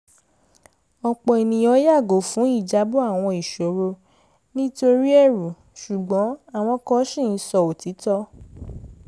ọ̀pọ̀ ènìyàn yàgo fún ìjábọ̀ àwọn iṣòro nítorí ẹ̀rù ṣùgbọ́n àwọn kan ṣì ń sọ òtítọ́